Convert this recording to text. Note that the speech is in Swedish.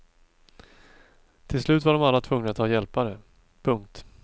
Till slut var de alla tvungna att ha hjälpare. punkt